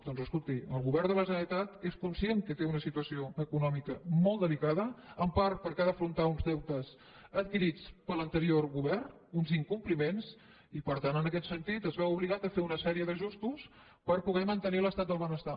doncs escolti el govern de la generalitat és conscient que té una situació econòmica molt delicada en part perquè ha d’afrontar uns deutes adquirits per l’anterior govern uns incompliments i per tant en aquest sentit es veu obligat a fer una sèrie d’ajustos per poder mantenir l’estat del benestar